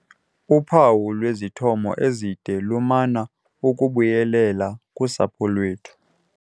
Uphawu lwwezithomo ezide lumana ukubuyelela kusapho lwethu.